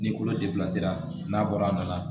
N'i kolo n'a bɔra a nana